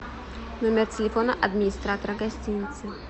номер телефона администратора гостиницы